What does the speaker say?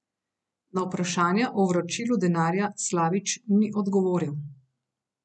Na vprašanja o vračilu denarja Slavič ni odgovoril.